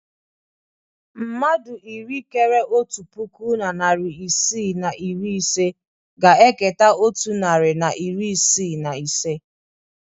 Mmadụ iri kéré otu puku na narị isii na iri ise ga-eketa otu narị na iri isii na ise